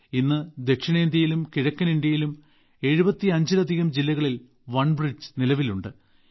ഇന്ന് ദക്ഷിണേന്ത്യയിലും കിഴക്കൻ ഇന്ത്യയിലും 75ലധികം ജില്ലകളിൽ ഒൺ ബ്രിഡ്ജ് നിലവിലുണ്ട്